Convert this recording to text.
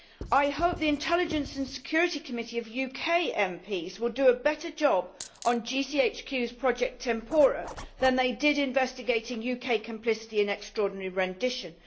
I hope the Intelligence and Security Committee of UK MPs will do a better job on GCHQ's Project Tempora than they did in investigating UK complicity in extraordinary rendition.